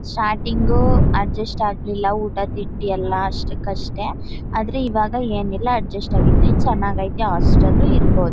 Starting adjust ಆಗ್ಲಿಲ್ಲ ಊಟ ತಿಂಡಿ ಎಲ್ಲ ಅಷ್ಟಕ್ಕಷ್ಟೇ ಆದರೆ ಇವಾಗ ಏನಿಲ್ಲ ಅಡ್ಜಸ್ಟ್ ಆಗಿದೀನಿ ಚೆನ್ನಾಗೈತೆ ಹಾಸ್ಟೆಲ್ ಲ್ಲು ಇರಬಹುದು.